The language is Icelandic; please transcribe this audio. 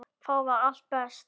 Þar var allt best.